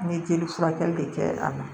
N ye jeli furakɛli de kɛ a la